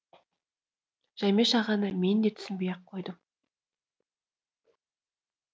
жәмеш ағаны мен де түсінбей ақ қойдым